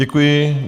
Děkuji.